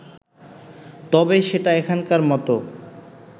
তবে সেটা এখনকার মতো